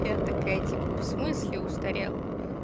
я такая типа в смысле устарел